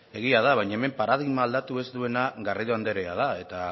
egia da baina hemen paradigma aldatu ez duena garrido andrea da eta